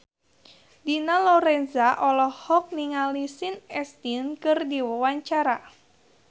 Dina Lorenza olohok ningali Sean Astin keur diwawancara